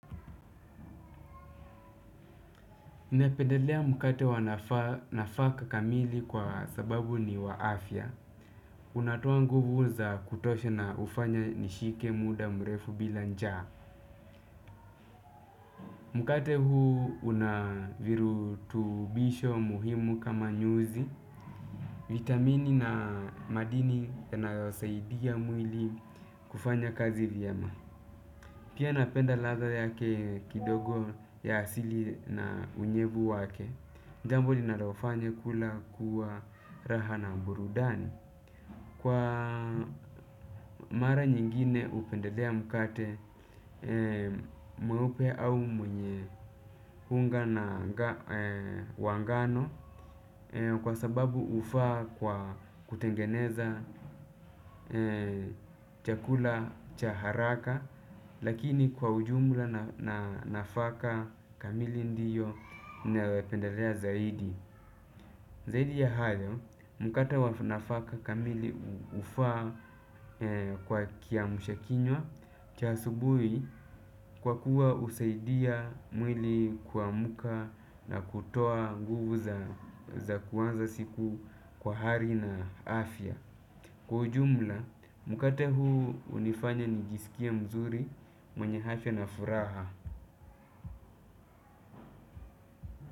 Napendelea mkate wanafaka kamili kwa sababu ni waafya. Unatoa nguvu za kutosha na hufanya nishike muda mrefu bila njaa. Mkate huu unavirutubisho muhimu kama nyuzi. Vitamini na madini na yanayosaidia mwili kufanya kazi vyema. Pia napenda ladha yake kidogo ya asili na unyevu wake. Jambo linalofanya kula kuwa raha na burudani. Kwa mara nyingine hupendelea mkate mweupe au mwenye unga na wa ngano kwa sababu hufaa kwa kutengeneza chakula cha haraka. Lakini kwa ujumla na nafaka kamili ndiyo naupendelea zaidi. Zaidi ya hayo, mkate wa nafaka kamili huafa kwa kiamshakinywa cha asubuhi kwa kuwa husaidia mwili kuamka na kutoa nguvu za kuanza siku kwa hali na afya. Kwa ujumla, mkate huu hunifanya nijiskie mzuri, mwenye afya na furaha.